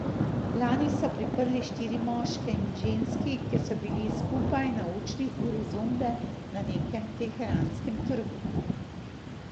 Lani so priprli štiri moške in ženski, ker so bili skupaj na učni uri zumbe na nekem teheranskem trgu.